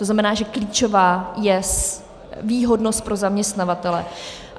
To znamená, že klíčová je výhodnost pro zaměstnavatele.